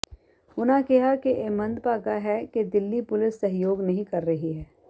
ਉਨ੍ਹਾਂ ਕਿਹਾ ਕਿ ਇਹ ਮੰਦਭਾਗਾ ਹੈ ਕਿ ਦਿੱਲੀ ਪੁਲਿਸ ਸਹਿਯੋਗ ਨਹੀਂ ਕਰ ਰਹੀ ਹੈ